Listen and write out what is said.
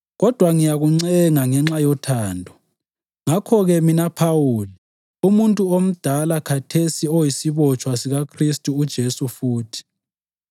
kodwa ngiyakuncenga ngenxa yothando. Ngakho-ke, mina Phawuli, umuntu omdala khathesi oyisibotshwa sikaKhristu uJesu futhi,